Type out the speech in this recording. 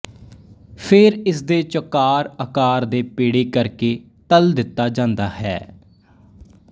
ਫੇਰ ਇਸਦੇ ਚੌਕਾਰ ਆਕਾਰ ਦੇ ਪੇੜੇ ਕਰਕੇ ਤਲ ਦਿੱਤਾ ਜਾਂਦਾ ਹੈ